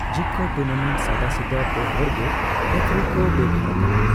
ᱡᱤᱵᱠᱟᱹ tournament ᱥᱟᱫᱟᱥᱤᱫᱟᱹ ᱯᱮᱦᱚᱲ ᱜᱮ ᱨᱮᱯᱷᱚᱨᱤ ᱠᱚ ᱵᱮᱵᱷᱟᱨ ᱟᱠᱟᱫᱟ ᱾